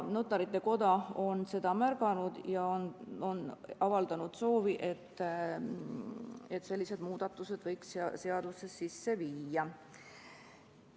Notarite Koda on seda märganud ja avaldanud soovi, et sellised muudatused võiks seadusesse sisse viia.